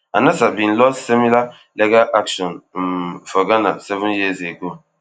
anasa bin lost similar legal action um for ghana seven years ago